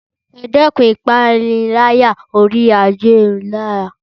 Ẹ dẹ́kun ìpániláyà oríi ayélujára